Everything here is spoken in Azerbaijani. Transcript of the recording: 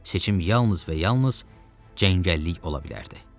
Seçim yalnız və yalnız cəngəllik ola bilərdi.